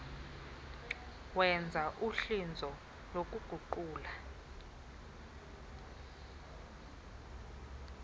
wenza uhlinzo lokuguqula